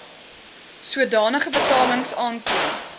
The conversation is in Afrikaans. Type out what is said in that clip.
sodanige betalings aantoon